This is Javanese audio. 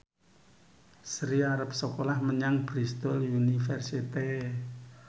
Sri arep sekolah menyang Bristol university